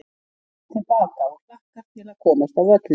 Hann er kominn til baka og hlakkar til að komast á völlinn.